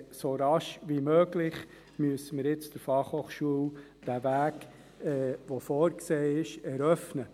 Aber wir müssen jetzt der Fachhochschule den Weg, der vorgesehen ist, so rasch wie möglich eröffnen.